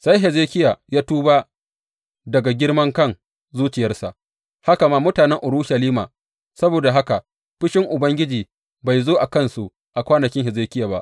Sai Hezekiya ya tuba daga girma kan zuciyarsa, haka ma mutanen Urushalima; saboda haka fushin Ubangiji bai zo a kansu a kwanakin Hezekiya ba.